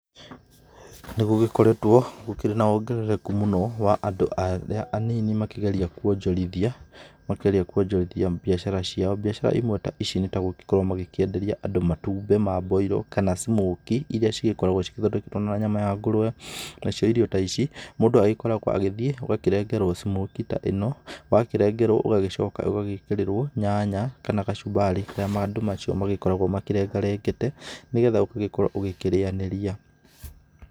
Nĩ gũgĩkoretwo gũkĩrĩ na wongerereku mũno wa andũ arĩa anini makĩgeria kuonjorithia, makĩgeria kuonjorithiambiacara cio. Mbiacara imwe ta ici nĩ gũgĩkorwo makĩenderia andũ matumbĩ ma mboirũ kana smokie iria cigĩkoragwo cithondeketwo na nyama ya ngũrwe. Na cio irio ta ici mũndũ agĩkoragwo agĩthiĩ agakĩrengerwo smokie ta ĩno, wakĩrengerwo ũgagĩcoka ũgagĩkĩrĩrwo nyanya kana gacumbari karĩa andũ acio magĩkoragwo makĩrengarengete, nĩ getha ũgagĩkorwo ũkirĩanĩria.